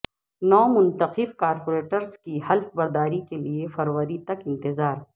نو منتخب کارپوریٹرس کی حلف برداری کیلئے فروری تک انتظار